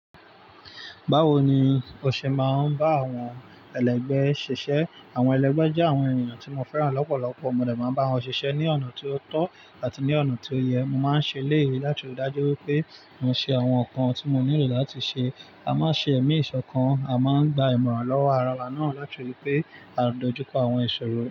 Báwo ni o ṣe máa ń bá àwọn ẹlẹ́gbẹ́ ẹ ṣiṣẹ́? Àwọn ẹlẹ́gbẹ́ jẹ́ àwọn ènìyàn tí mo fẹ́ràn lọ́pọ̀lọpọ̀. Mo lè máa bá wọn ṣiṣẹ́ ní ọ̀nà tó tọ́ àti ní ọ̀nà tó yẹ. Mo máa ń ṣe léyìí láti rí i dájú pé mo ṣe àwọn nǹkan tí mo nílò láti ṣe. A máa ń ṣe ẹ̀mí ìṣọ̀kan, a máa ń gba ìmọ̀ràn lọ́wọ́ ara wa náà láti rí pé a ń dojú kọ àwọn ìṣòro rẹ̀.